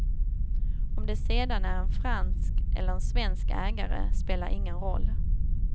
Om det sedan är en fransk eller en svensk ägare spelar ingen roll.